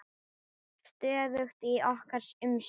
Stöðugt í okkar umsjá.